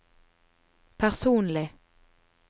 personlig